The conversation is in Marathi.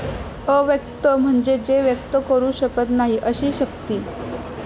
अव्यक्त म्हणजे जे व्यक्त करू शकत नाही अशी शक्ती